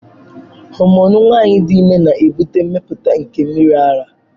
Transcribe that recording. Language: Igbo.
Homonu nwanyị dị ime na-ebute mmepụta nke mmiri ara.